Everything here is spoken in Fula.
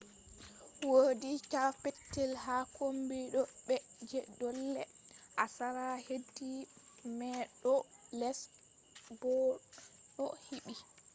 wodi cave petel ha kombi dau mai je dole a sala hedi mai ɗo les bo ɗo hiɓɓi